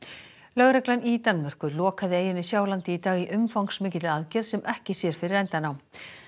lögreglan í Danmörku lokaði eyjunni Sjálandi í dag í umfangsmikilli aðgerð sem ekki sér fyrir endann á